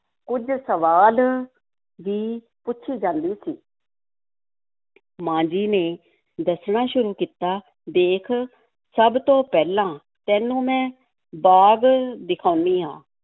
ਕੁੱਝ ਸਵਾਲ ਵੀ ਪੁੱਛੀ ਜਾਂਦੀ ਸੀ ਮਾਂ ਜੀ ਨੇ ਦੱਸਣਾ ਸ਼ੁਰੂ ਕੀਤਾ, ਦੇਖ ਸਭ ਤੋਂ ਪਹਿਲਾਂ ਤੈਨੂੰ ਮੈਂ ਬਾਗ਼ ਦਿਖਾਉਂਨੀ ਹਾਂ।